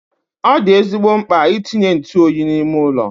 Ọ dị ezigbo mkpa itinye ntụ oyi n'ime ụlọ.